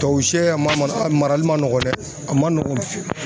Tuwawu siyɛ a ma marali man nɔgɔn dɛ a man nɔgɔn.